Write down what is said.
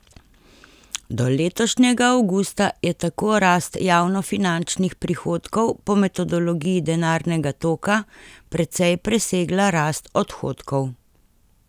Do letošnjega avgusta je tako rast javnofinančnih prihodkov po metodologiji denarnega toka precej presegala rast odhodkov.